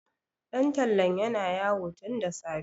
ɗan tallan yana yawo tun da safe